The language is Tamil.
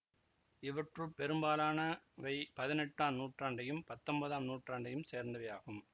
இவற்றுட் பெரும்பாலானவை பதினெட்டாம் நூற்றாண்டையும் பத்தொன்பதாம் நூற்றாண்டையும் சேர்ந்தவையாகும்